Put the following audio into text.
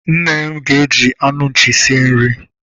Nne m ga- eji anụ nchi sie nri.